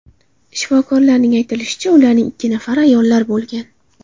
Shifokorlarning aytilishicha, ularning ikki nafari ayollar bo‘lgan.